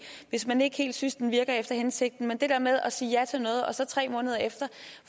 hvis man ikke helt synes det virker efter hensigten men det der med at sige ja til noget og så tre måneder efter